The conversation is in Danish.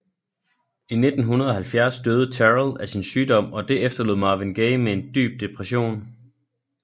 I 1970 døde Terrell af sin sygdom og det efterlod Marvin Gaye med en dyb depression